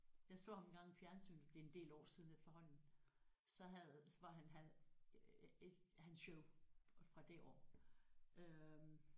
Jeg så ham engang i fjernsynet det er en del år siden efterhånden så havde var han havde ik hans show fra det år øh